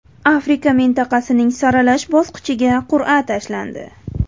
Afrika mintaqasining saralash bosqichiga qur’a tashlandi.